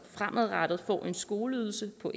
fremadrettet får en skoleydelse på